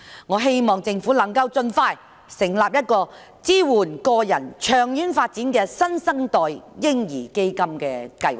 我希望政府能夠盡快成立一個支援個人長遠發展的"新生代嬰兒基金"計劃。